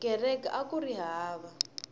kereke akuri hava